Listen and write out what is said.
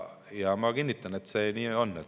Ja ma kinnitan, et nii see on.